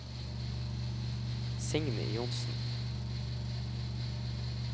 Signy Johnsen